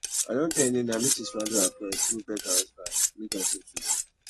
i don tell nnenna make she swallow her pride go beg her husband make dem settle